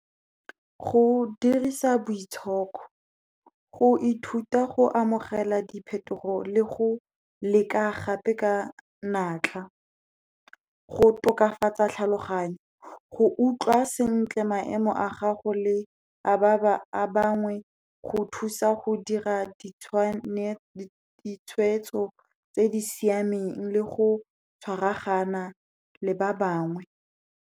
Go dirisa boitshoko, go ithuta go amogela diphetogo le go leka gape ka natla, go tokafatsa tlhaloganyo, go utlwa sentle maemo a gago le a ba bangwe, go thusa go dira ditshweetso tse di siameng le go tshwaragana le ba bangwe.